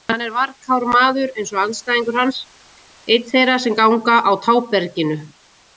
Hann er varkár maður eins og andstæðingur hans, einn þeirra sem ganga á táberginu.